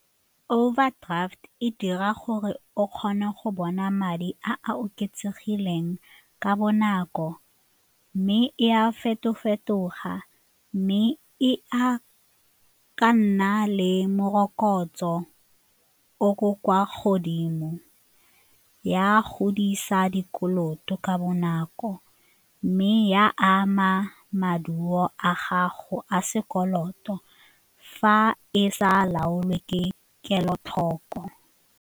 Overdraft e dira gore o kgone go bona madi a a oketsegileng ka bonako mme e a feto-fetoga mme e a ka nna le morokotso o ko kwa godimo, ya godisa dikoloto ka bonako mme ya ama maduo a gago a sekoloto fa e sa laolwe ke kelotlhoko.